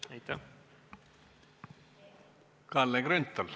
Ma vist ei saa küsimusest aru.